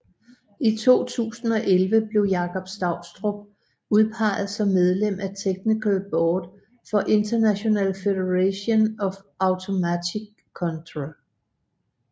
I 2011 blev Jakob Stoustrup udpeget som medlem af Technical Board for International Federation of Automatic Control